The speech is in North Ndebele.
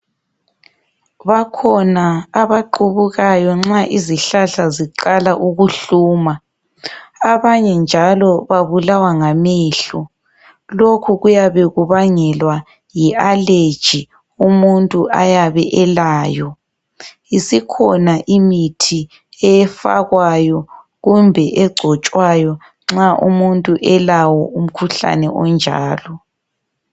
Bakhona abaqubukayo nxa izihlahla ziqala ukuhluma, abanye njalo babulawa ngamehlo. Lokhu kuyabe kubangelwa yi allergy umuntu ayabe elayo. Isikhona imithi efakwayo kumbe egcotshwayo nxa umuntu elawo umkhuhlane onjalo.